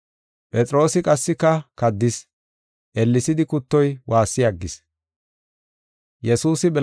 Phexroosi qassika kaddis; ellesidi kuttoy waassi aggis.